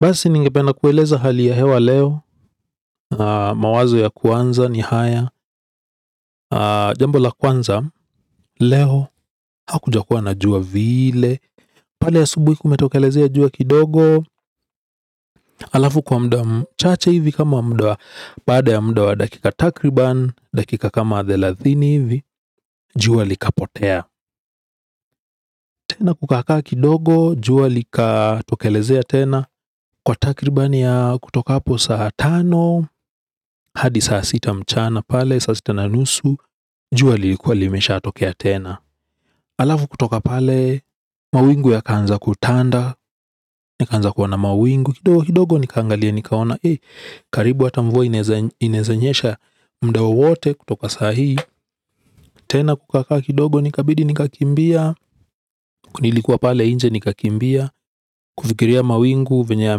Basi ningependa kueleza hali ya hewa leo, mawazo ya kwanza ni haya, jambo la kwanza, leo hakujakuwa na jua vile, pale asubuhi kumetokelezea jua kidogo alafu kwa muda mchache hivi kama muda wa baada ya muda wa dakika takriban dakika kama thelathini hivi jua likapotea. Tena kukaka kidogo jua likatokelezea tena kwa takribani ya kutoka hapo saa tano hadi saa sita mchana pale saa sita na nusu jua lilikuwa limeshatokea tena. Alafu kutoka pale, mawingu yakaanza kutanda, nikanza kuona mawingu, kidogo kidogo nikaangalia nikaona karibu hata mvua inawezanyesha muda wowote kutoka sahii, tena kukakaa kidogo ikabidi nikakimbia, kunilikuwa pale inje nikakimbia, kufikiria mawingu venya ya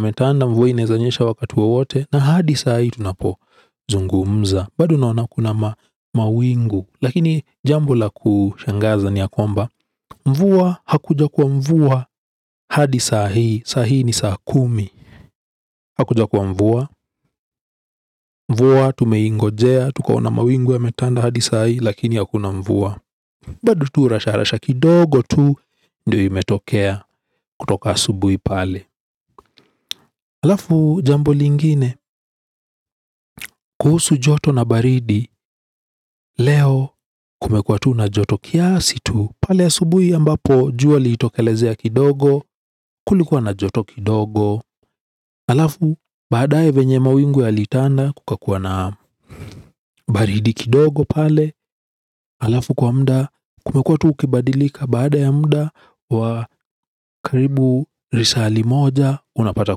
metanda, mvua inezanyesha wakatu wote, na hadi sahi tunapo zungumza, badu naona kuna mawingu, lakini jambo la kushangaza ni akomba, mvua hakuja kuwa mvua hadi saa hii, sahii ni saa kumi. Hakuja kuwa mvua, mvua tumeingojea tukaona mawingu yametanda hadi sahii lakini hakuna mvua. Bado tu rasha rasha kidogo tu ndiyo imetokea kutoka asubuhi pale. Alafu jambo lingine. Kuhusu joto na baridi. Leo kumekua tu na joto kiasi tu pale asubui ambapo jua lilitokelezea kidogo. Kulikuwa na joto kidogo. Alafu baadaye venye mawingu yalitanda kukakua na baridi kidogo pale. Alafu kwa muda kumekua tu kibadilika baada ya muda wa karibu risali moja unapata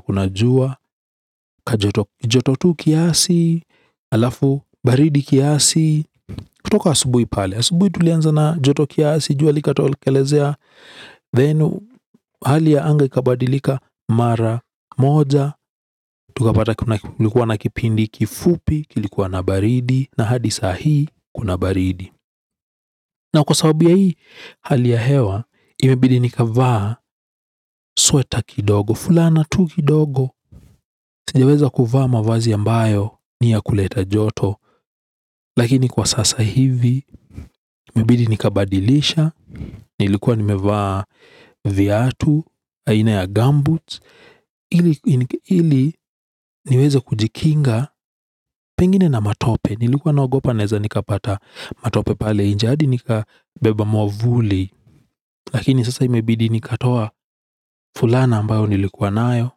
kuna jua. Kajoto tu kiasi alafu baridi kiasi. Kutoka asubuhi pale asubuhi tulianza na joto kiasi jua lika tokelezea hali ya anga ikabadilika mara moja tukapata kulikuwa na kipindi kifupi, kilikuwa na baridi. Na hadi sahii, kuna baridi. Na kwa sababu ya hii hali ya hewa imebidi nikavaa sweta kidogo fulana tu kidogo. Sigeweza kuvaa mavazi ambayo ni ya kuleta joto. Lakini kwa sasa hivi imebidi nikabadilisha nilikuwa nimevaa viatu aina ya gambut ili niweze kujikinga pengine na matope, nilikuwa naogopa naweza nikapata matope pale, inje hadi nikabeba mwavuli lakini sasa imebidi nikatoa fulana ambayo nilikuwa nayo,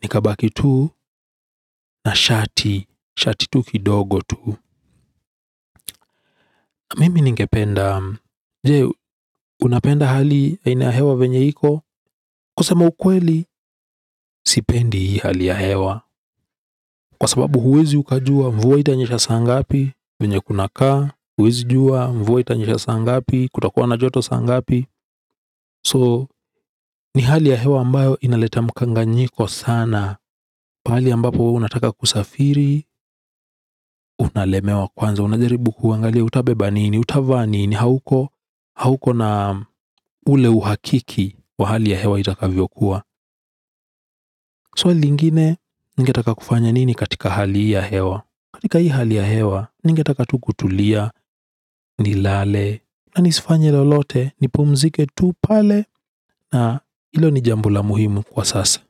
nikabaki tuu na shati, shati tu kidogo tu. Mimi ningependa, je, unapenda hali aina ya hewa venye iko, kusema ukweli, sipendi hali ahewa. Kwa sababu huwezi ukajua, mvua itanyesha saa ngapi, venye kunakaa, huwezi jua, mvua itanyesha saa ngapi, kutakuwa na joto saa ngapi, ni hali ya hewa ambayo inaleta mkanganyiko sana. Kwa hali ya mbapo unataka kusafiri, unalemewa kwanza, unajaribu kuangalia utabeba nini, utavaa nini, hauko na ule uhakiki wa hali ya hewa itakavyo kuwa swali ingine, ningetaka kufanya nini katika hali hii ya hewa, katika hii hali ya hewa, ningetaka tu kutulia, ni lale, na nisifanye lolote ni pumzike tu pale na hilo ni jambo la muhimu kwa sasa.